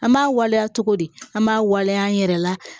An b'a waleya cogo di an b'a waleya an yɛrɛ la